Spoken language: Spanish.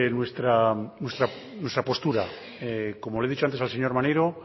nuestra postura como le he dicho antes al señor maneiro